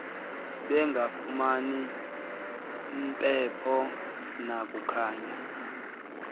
bengafumani mpepho nakukhanya